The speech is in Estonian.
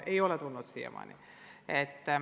Ei ole tulnud siiamaani.